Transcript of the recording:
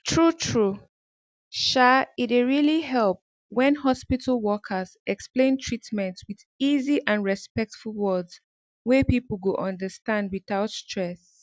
true true um e dey really help when hospital workers explain treatment with easy and respectful words wey people go understand without stress